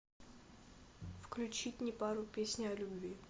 включить непару песня о любви